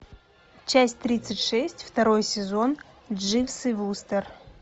часть тридцать шесть второй сезон дживс и вустер